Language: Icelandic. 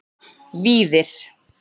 Víðir